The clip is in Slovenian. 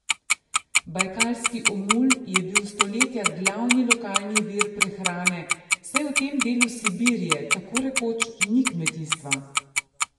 Bajkalski omul je bil stoletja glavni lokalni vir prehrane, saj v tem delu Sibirije tako rekoč ni kmetijstva.